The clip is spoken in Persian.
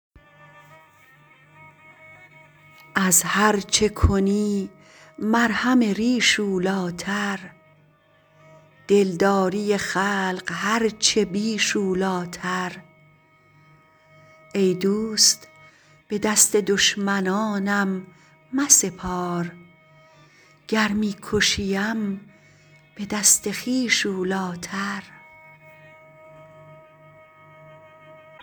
از هرچه کنی مرهم ریش اولیتر دلداری خلق هرچه بیش اولیتر ای دوست به دست دشمنانم مسپار گر می کشیم به دست خویش اولیتر